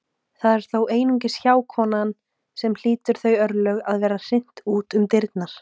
Það er þó einungis hjákonan sem hlýtur þau örlög að vera hrint út um dyrnar.